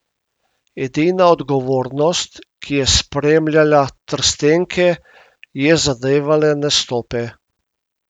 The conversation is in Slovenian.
Edina odgovornost, ki je spremljala trstenke, je zadevala nastope.